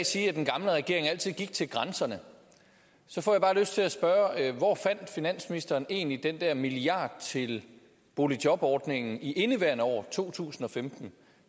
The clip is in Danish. sige at den gamle regering altid gik til grænserne så får jeg bare lyst til at spørge hvor finansministeren egentlig fandt den der milliard kroner til boligjobordningen i indeværende år to tusind og femten